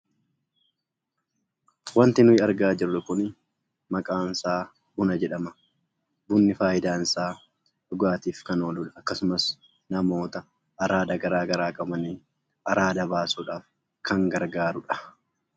Wanti nuyi argaa jirru kunii maqaansaa Buna jedhama. Bunni faayidaansaa dhugaatiif kan ooludha akkasumas namoota araada garaa garaa qabaniif araada baasudhaaf kan gargaarudha.